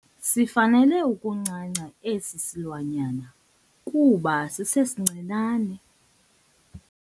Sifanele ukuncanca esi silwanyana kuba sisesincinane.